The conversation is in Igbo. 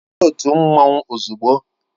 Soro otu mmanwu ozugbo!